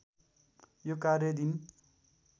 यो कार्य दिन